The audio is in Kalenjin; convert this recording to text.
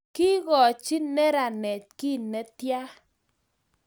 kikochi neranet kiy netyaa?